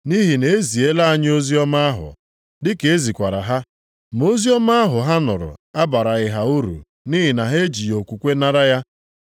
Nʼihi na-eziela anyị oziọma ahụ, dị ka ezikwara ha: ma oziọma ahụ ha nụrụ abaraghị ha uru nʼihi na ha ejighị okwukwe nara ya.